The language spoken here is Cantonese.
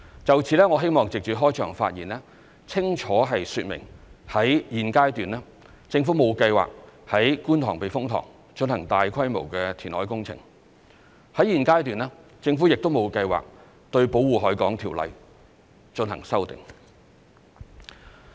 就此，我希望藉着開場發言，清楚說明在現階段，政府沒有計劃於觀塘避風塘進行大規模填海工程，在現階段，政府亦沒有計劃對《條例》進行修訂。